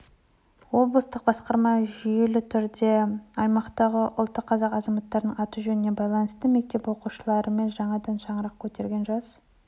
облыстық басқарма жүйелі түрде аймақтағы ұлты қазақ азаматтардың аты-жөніне байланысты мектеп оқушыларымен жаңадан шаңырақ көтерген жас